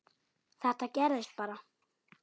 Þetta gerðist bara?!